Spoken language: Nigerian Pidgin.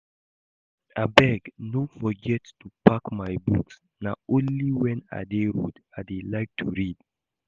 Abeg no forget to pack my books. Na only wen I dey road I dey like to read